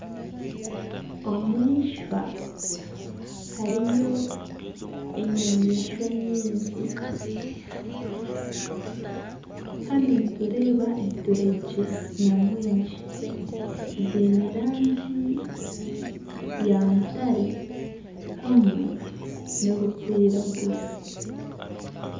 Omu ishwa hariyo enyamaishwa nyingi hanu nitureeba enturegye nyamwingi ziine erangi ya mutare hamwe nana erikwiragura